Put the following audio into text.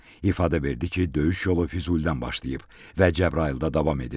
İfadə verdi ki, döyüş yolu Füzulidən başlayıb və Cəbrayılda davam edib.